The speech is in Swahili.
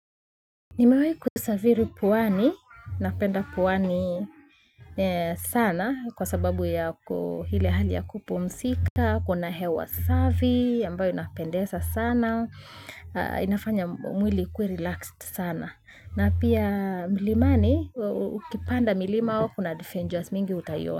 Nimewahi kusafiri pwani, napenda pwani sana kwa sababu ya ile hali ya kupumzika, kuna hewa safi, ambayo inapendeza sana, inafanya mwili ikue relaxed sana. Na pia milimani, ukipanda milima kuna adventures mingi utaiona.